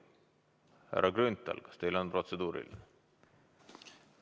Härra Grünthal, kas teil on protseduuriline?